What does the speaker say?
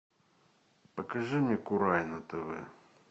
покажи мне курай на тв